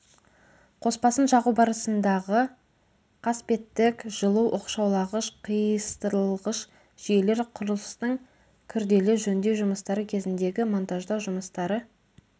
қоспасын жағу барысындағы қасбеттік жылу оқшаулағыш қиыстырылғыш жүйелер құрылыстардың күрделі жөндеу жұмыстары кезіндегі монтаждау жұмыстары